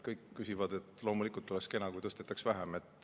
Loomulikult kõik ütlevad, et oleks kena, kui tõstetaks vähem.